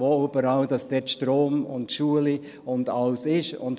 ich zeige ihnen, wo dort der Strom und die Schulen und alles sind.